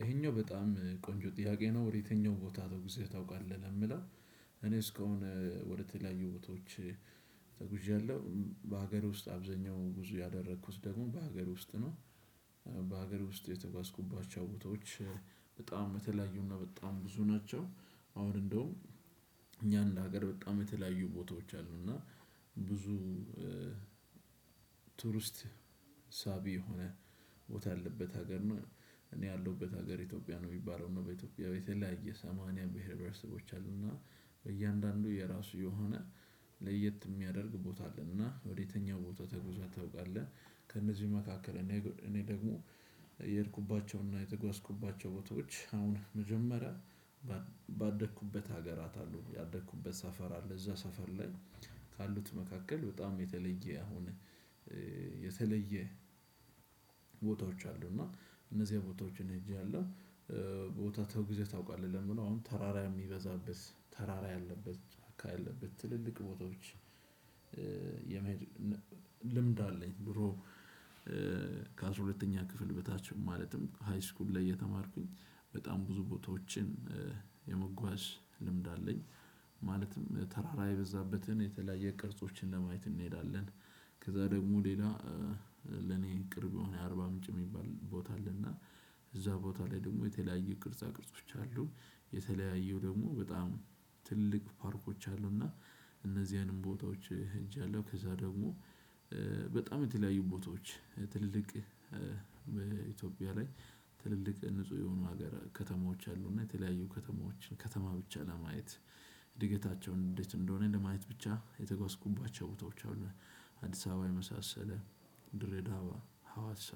ይሄኛው በጣም ቆንጆ ጥያቄ ነው ወደ የትኛው ቦታ ተወግዘህ ታውቃለህ ለሚለው? እኔ እስካሁን ወደተለያዩ ቦታዎች ተጉዣለሁ በሀገር ውስጥ አብዛኛውን ጉዞ ያደረኩት ደግሞ በሀገር ውስጥ ነው። በሀገር ውስጥ የተጓዝኩባቸው ቦታዎች በጣም የተለያዩና በጣም ብዙ ናቸው። አሁን እንደውም እኛን ለሀገር በጣም የተለያዩ ቦታዎች አሉ እና ብዙ ቱሪስት ሳቢ የሆነ ቦታ ያለበት ሀገር ነው። እኔ ያለሁበት ሀገር ኢትዮጵያ ነው የሚባለው እና በኢትዮጵያ የተለያየ ሰማንያ ብሄር ብሄረሰቦች አሉና እያንዳንዱ የራሱ የሆነ ለየት የሚያደርግ ቦታ አለ። እና ወደየትኛው ቦታ ተጉዘህ ታውቃለህ? ከነዚህም መካከል እኔ ደግሞ የሄድኩባቸውና የተጓዝኩባቸው ቦታዎች አሁን መጀመሪያ ባደኩበት ሀገራት አሉ ያደኩበት ሰፈር አለ እዛ ሰፈር ላይ ካሉት መካከል በጣም የተለየ አሁን የተለየ ቦታዎች አሉ እና እነዚህ ቦታዎችን ሄጃለሁ። ቦታ ተጉዘህ ታውቃለህ? ለሚለው አሁን ተራራ የሚበዛበት ተራራ ያለበት ጫካ ያለበት ትልልቅ ቦታዎች የመሄድ ልምድ አለኝ። ድሮ ከአስራ ሁለተኛ ክፍል በታች ማለትም ሃይስኩል ላይ እየተማርኩኝ በጣም ብዙ ቦታዎችን የመጓዝ ልምድ አለኝ ማለትም ተራራ የበዛበትን የተለያየ ቅርጾችን ለማየት እንሄዳለን። ከዛ ደግሞ ሌላ ለኔ ቅርብ የሆነ አርባ ምንጭ የሚባል ቦታ አለና እዛ ቦታ ላይ ደግሞ የተለያዩ ቅርጻ ቅርጾች አሉ። የተለያዩ ደግሞ በጣም ትልቅ ፓርኮች አሉና እነዚህንም ቦታዎች ሂጃለሁ። ከዛ ደግሞ በጣም የተለያዩ ቦታዎች ትልቅ በኢትዮጵያ ላይ ትልልቅ ንጹህ የሆኑ ሀገር ከተማዎች አሉና የተለያዩ ከተማዎችን ከተማ ብቻ ለማየት እድገታቸውን እንዴት እንደሆነ ለማየት ብቻ የተጓዝኩባቸው ቦታዎች አሉ። አዲስ አበባ የመሳሰለ ድሬዳዋ ሀዋሳ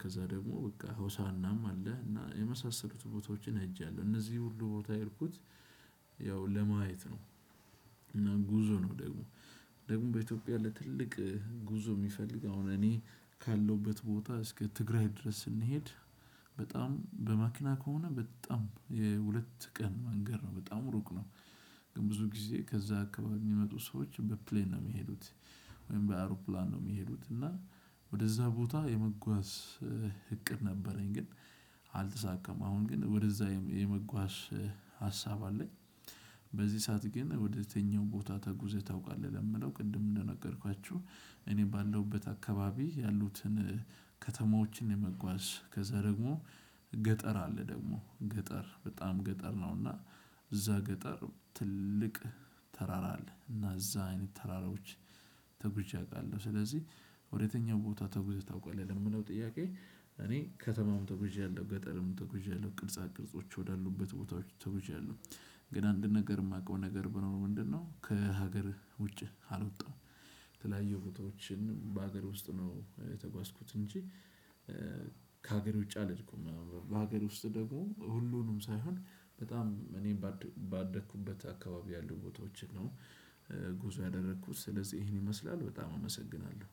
ከዛ ደግሞ በቃ ሆሳአናም አለ እና የመሳሰሉት ቦታዎችን ሄጃለሁ። እነዚህ ሁሉ ቦታ የሄድኩት ያው ለማየት ነው። እና ጉዞ ነው ደግሞ ደግሞ በኢትዮጵያ ላይ ትልቅ ጉዞ የሚፈልግ አሁን እኔ ካለሁበት ቦታ እስከ ትግራይ ድረስ ስንሄድ በጣም በ መኪና ከሆነ በጣም የ ሁለት ቀን መንገድ ነው በጣም ሩቅ ነው። ብዙ ጊዜ ከዛ አካባቢ የሚመጡ ሰዎች በ ፕሌን ነው የሚሄዱት። ወይም በ አውሮፕላን ነው የሚሄዱት። እና ወደዛ ቦታ የመጓዝ እቅድ ነበረኝ። ግን አልተሳካም። አሁን ግን ወደዛ የመጓዝ ሀሳብ አለኝ። በዚህ ሰዓት ግን ወደየትኛው ቦታ ተጉዘህ ታውቃለህ? ለሚለው ቅድም እንደነገርኳችሁ እኔ ባለሁበት አካባቢ ያሉትን ከተማዎችን የመጓዝ ከዛ ደግሞ ገጠር አለ ደግሞ ገጠር በጣም ገጠር ነው እና እዛ ገጠር ትልቅ ተራራ አለ እና እዛ አይነት ተራራዎች ተጉዤ አውቃለሁ። ስለዚህ ወደየትኛው ቦታ ተጉዘህ ታውቃለህ? ለሚለው ጥያቄ እኔ ከተማም ተጉዣለሁ ገጠርም ተጉዣለሁ ቅርጻ ቅርጾች ወዳሉበት ቦታዎች ተጉዣለሁ። ግን አንድ ነገር የማውቀው ነገር ቢኖር ምንድነው? ከሀገርህ ውጪ አልወጣም። የተለያዩ ቦታዎችን በሀገር ውስጥ ነው የተጓዝኩት እንጂ ከሀገር ውጪ አልሄድኩም። በሀገር ውስጥ ደግሞ ሁሉንም ሳይሆን በጣም እኔ ባደኩበት አካባቢ ያሉ ቦታዎችን ነው። ጉዞ ያደረኩት ስለዚህ ይሄን ይመስላል በጣም አመሰግናለሁ።